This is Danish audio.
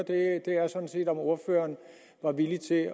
er sådan set om ordføreren er villig til at